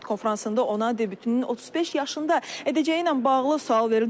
Mətbuat konfransında ona debütünün 35 yaşında edəcəyi ilə bağlı sual verildi.